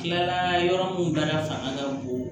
Tilala yɔrɔ min baara fanga ka bon